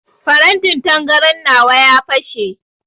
Farantin tangaran nawa ya fashe.